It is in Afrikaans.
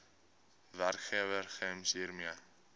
werkgewer gems hiermee